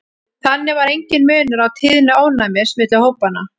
þannig var enginn munur á tíðni ofnæmis milli hópanna